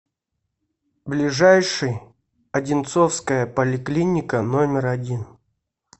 ближайший одинцовская поликлиника номер один